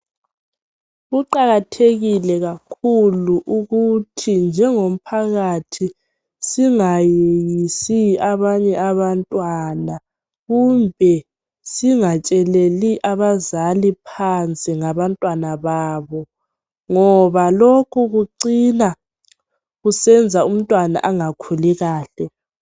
Kuqakathekile kakhulu ukuthi njengomphakathi singayeyisi abanye abantwana kumbe singatsheleli abazali phansi ngaba ntwana babo ngoba lokhu kucina kusenza umntwana angakhuli kahle.